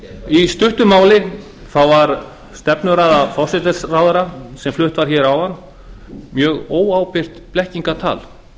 í stuttu máli var stefnuræða forsætisráðherra sem flutt var hér áðan mjög óábyrgt blekkingartal